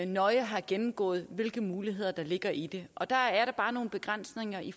nøje har gennemgået hvilke muligheder der ligger i det og der er der bare nogle begrænsninger i